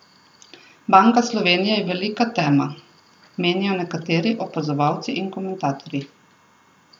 Banka Slovenije je velika tema, menijo nekateri opazovalci in komentatorji.